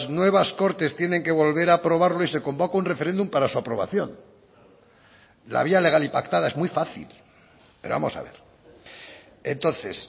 nuevas cortes tienen que volver a aprobarlo y se convoca un referéndum para su aprobación la vía legal y pactada es muy fácil pero vamos a ver entonces